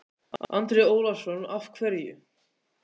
Andri Ólafsson: Af hverju?